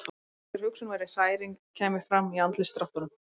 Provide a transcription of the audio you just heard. Það var eins og hver hugsun, hver hræring kæmi fram í andlitsdráttunum.